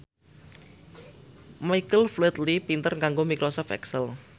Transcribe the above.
Michael Flatley pinter nganggo microsoft excel